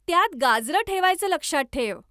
त्यात गाजरं ठेवायचं लक्षात ठेव.